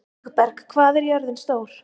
Vígberg, hvað er jörðin stór?